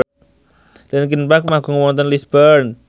linkin park manggung wonten Lisburn